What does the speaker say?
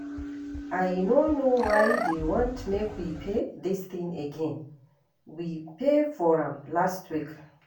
I no know why dey want make we pay dis thing again, we pay for am last week